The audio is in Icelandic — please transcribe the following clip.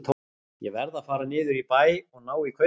Ég verð að fara niður í bæ og ná í kaupið.